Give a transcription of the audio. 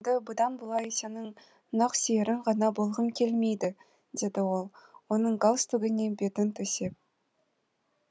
мен енді бұдан былай сенің нақсүйерің ғана болғым келмейді деді ол оның галстугіне бетін төсеп